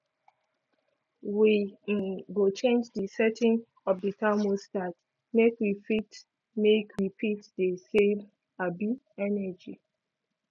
we um go change di setting of di thermostat make we fit make we fit dey save um energy